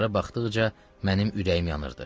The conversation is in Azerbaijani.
Onlara baxdıqca mənim ürəyim yanırdı.